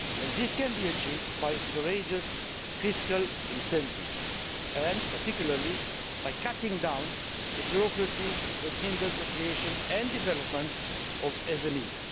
This can be achieved by courageous fiscal incentives, and particularly by cutting down the bureaucracy that hinders the creation and development of SMEs.